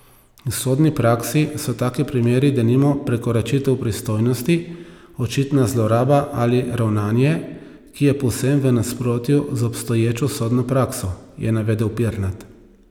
V sodni praksi so taki primeri denimo prekoračitev pristojnosti, očitna zloraba ali ravnanje, ki je povsem v nasprotju z obstoječo sodno prakso, je navedel Pirnat.